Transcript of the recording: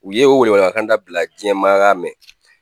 U ye o wele welekanda bila jiyɛnmaa y'a mɛn.